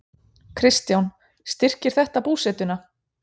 Kristján: Styrkir þetta búsetuna?